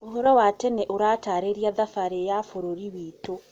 Ũhoro wa tene ũratarĩria thabarĩ ya bũrũri witũ.